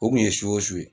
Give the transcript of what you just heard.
O kun ye su o su su